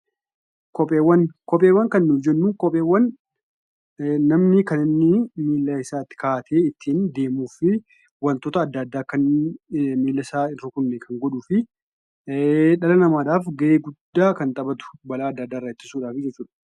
Kopheewwan kan nuyi jennu namni kan inni miila isaatti kaa'atee ittiin deemuu fi wantoota adda addaa akka miila isaa akka hin tuqne godhuu fi dhala namaaf gahee guddaa kan taphatu balaa adda addaarraa ittisa.